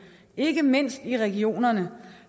ikke mindst i regionerne